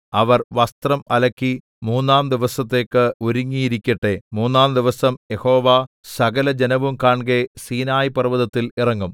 അവർ വസ്ത്രം അലക്കി മൂന്നാം ദിവസത്തേക്ക് ഒരുങ്ങിയിരിക്കട്ടെ മൂന്നാംദിവസം യഹോവ സകലജനവും കാൺകെ സീനായി പർവ്വതത്തിൽ ഇറങ്ങും